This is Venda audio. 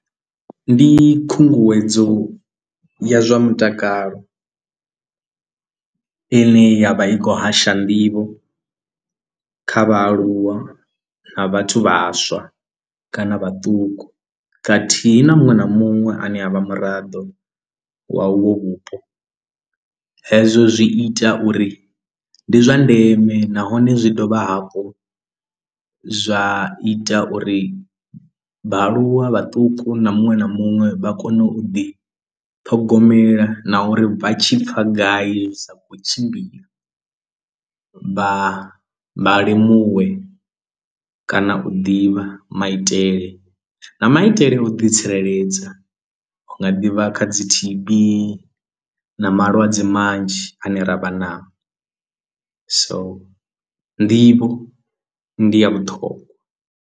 Ndi khunguwedzo ya zwa mutakalo ane ye ya vha i khou hasha nḓivho kha vhaaluwa na vhathu vhaswa kana vhaṱuku khathihi na muṅwe na muṅwe ane a vha muraḓo wa uvho vhupo hezwo zwi ita uri ndi zwa ndeme nahone zwi dovha hafhu zwa ita uri vhaaluwa vhaṱuku na muṅwe na muṅwe vha kone u ḓi ṱhogomela na uri vha tshi pfha gai ndi sa khou tshimbila vha vha limuwe kana u ḓivha maitele na maitele a u ḓitsireledza u nga ḓivha kha dzi T_B na malwadze manzhi ane ravha nao so nḓivho ndi ya vhuṱhongwa.